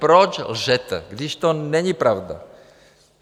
Proč lžete, když to není pravda?